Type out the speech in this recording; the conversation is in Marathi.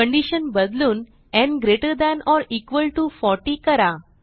कंडिशन बदलून न् 40 करा